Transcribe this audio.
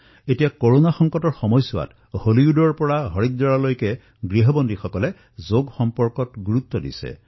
এতিয়া কৰোনাৰ এই সময়ছোৱাত দেখা গৈছে যে হলিউদৰ পৰা হৰিদ্বাৰলৈ ঘৰত থাকিয়েই জনসাধাৰণে যোগৰ ওপৰত বিশেষ গুৰুত্ব আৰোপ কৰিছে